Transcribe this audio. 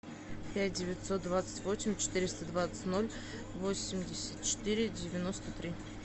пять девятьсот двадцать восемь четыреста двадцать ноль восемьдесят четыре девяносто три